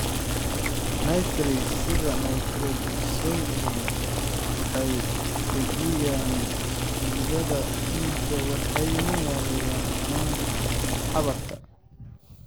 Nitrates, sida nitroglycerin waxay dejiyaan xididdada dhiigga waxayna yareeyaan xanuunka xabadka.